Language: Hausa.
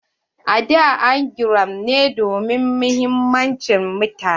A da an GRA ne domin muhimman mutane.